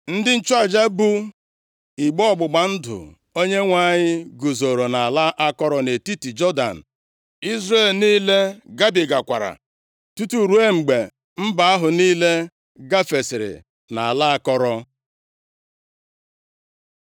Ndị nchụaja bu igbe ọgbụgba ndụ Onyenwe anyị guzoro nʼala akọrọ nʼetiti Jọdan, Izrel niile gabigakwara tutu ruo mgbe mba ahụ niile gafesịrị nʼala akọrọ.